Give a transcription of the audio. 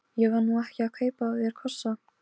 Ég var nú ekki að kaupa af þér kossa.